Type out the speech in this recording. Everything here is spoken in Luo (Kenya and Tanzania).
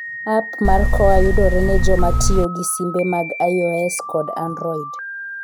App mar KOA yudore ne joma tiyo gi simbe mag iOS kod Android.